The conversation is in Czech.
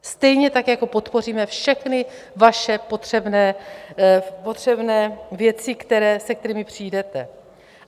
Stejně tak jako podpoříme všechny vaše potřebné věci, se kterými přijdete.